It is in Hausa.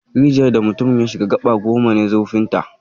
Rijiyar da mutumin ya shiga gaba goma ne zurfinta